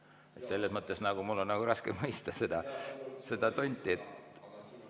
Nii et selles mõttes on mul nagu raske mõista seda tonti.